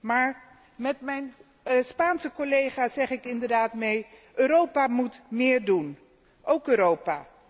Maar met mijn Spaanse collega zeg ik inderdaad Europa moet méér doen, óók Europa.